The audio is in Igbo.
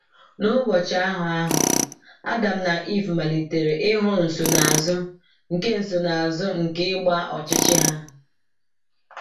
N’ụbọchị ahụ ahụ, Adam na Ivụ malitere ịhụ nsonaazụ nke nsonaazụ nke ịgba ọchịchị ha.